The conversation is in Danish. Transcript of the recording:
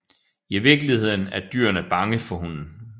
I virkeligheden er dyrene bange for hunden